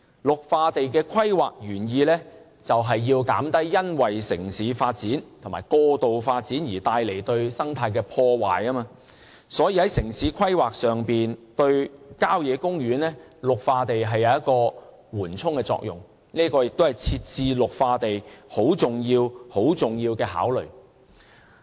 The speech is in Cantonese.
綠化地的規劃原意便是要減低因為城市發展和過度發展而對生態帶來的破壞，所以，在城市規劃上，綠化地有緩衝的作用，這亦是設置綠化地很重要的考慮。